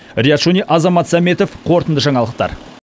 риат шони азамат сәметов қорытынды жаңалықтар